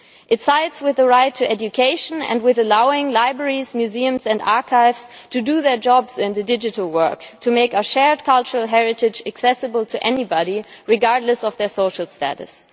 It sides with the right to education and with allowing libraries, museums and archives to do their jobs in the digital world and to make our shared cultural heritage accessible to anybody, regardless of their social status.